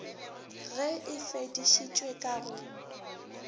ge e fedišitšwe ka go